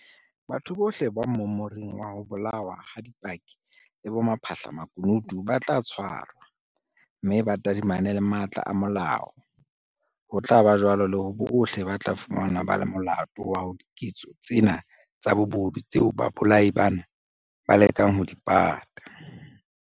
Batho bohle ba mmomoring wa ho bolawa ha dipaki le bapha hlamakunutu ba tla tshwarwa, mme ba tadimane le matla a molao, ho tla ba jwalo le ho bohle ba tla fumanwa ba le molato wa diketso tsena tsa bobodu tseo babolai bana ba lekang ho di pata.